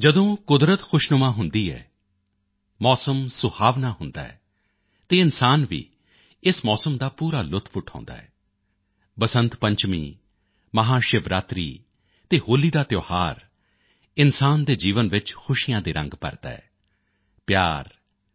ਜਦੋਂ ਕੁਦਰਤ ਖੁਸ਼ਨੁਮਾ ਹੁੰਦੀ ਹੈ ਮੌਸਮ ਸੁਹਾਵਣਾ ਹੁੰਦਾ ਹੈ ਤਾਂ ਇਨਸਾਨ ਵੀ ਇਸ ਮੌਸਮ ਦਾ ਪੂਰਾ ਲੁਤਫ਼ ਉਠਾਉਂਦਾ ਹੈ ਬਸੰਤ ਪੰਚਮੀ ਮਹਾਸ਼ਿਵਰਾਤਰੀ ਅਤੇ ਹੋਲੀ ਦਾ ਤਿਓਹਾਰ ਇਨਸਾਨ ਦੇ ਜੀਵਨ ਵਿੱਚ ਖੁਸ਼ੀਆਂ ਦੇ ਰੰਗ ਭਰਦਾ ਹੈ ਪਿਆਰ